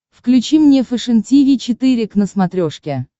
включи мне фэшен тиви четыре к на смотрешке